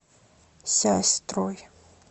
сясьстрой